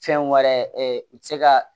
Fɛn wɛrɛ u tɛ se ka